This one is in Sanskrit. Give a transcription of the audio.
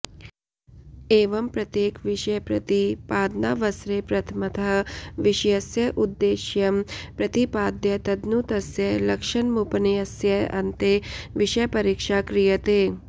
एवं प्रत्येकविषयप्रतिपादनावसरे प्रथमतः विषयस्य उद्देश्यम् प्रतिपाद्य तदनु तस्य लक्षणमुपन्यस्य अन्ते विषयपरीक्षा क्रियते